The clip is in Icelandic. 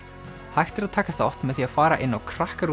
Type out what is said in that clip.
hægt er að taka þátt með því að fara inn á